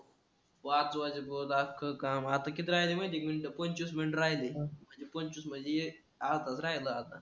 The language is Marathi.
पाच वाजेपर्यंत अख्ख काम, आता किती राहिलेय माहिती आहे का मिनिटं? पंचवीस मिनिटं राहिली आहे. आता पंचवीस म्हणजे एक अर्धा तासच राहिला आता.